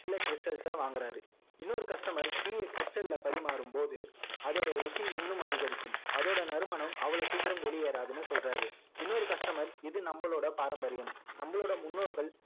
சில stal ச வாங்குறாரு இன்னொரு customer tea ய stal ல பரிமாறும் போது அதோட ருசி இன்னும் அதிகரிக்கும் அதோட நறுமனம் அவ்வளோ சீக்கிரம் வெளியேறாதுன்னு சொல்றாரு இன்னொரு customer இது நம்மளுடைய பாரம்பரியம் நம்மளோட முன்னோர்கள்